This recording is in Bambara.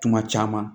Tuma caman